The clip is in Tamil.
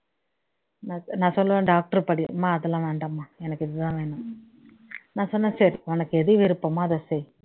நான் சொல்லுவேன் doctor க்கு படி அம்மா அதெல்லாம் வேண்டாம்மா எனக்கு இதுதான் வேணும் நான் சொன்னேன் சரி உனக்கு ஏது விருப்பமோ அதை செய்